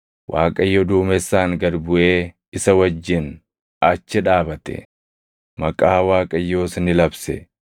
Waaqayyo duumessaan gad buʼee isa wajjin achi dhaabate; maqaa Waaqayyoos ni labse.